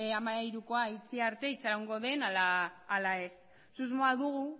hamairukoa itxi arte itxarongo den ala ez susmoa dugu